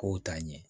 K'o ta ɲɛ